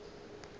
ge a ka re a